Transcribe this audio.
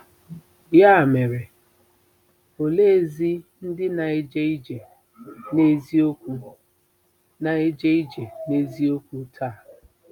Ya mere, oleezi ndị na-eje ije n'eziokwu na-eje ije n'eziokwu taa?